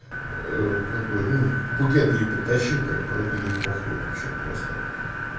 как бы ну букет ей притащил как бы ей похуй вообще просто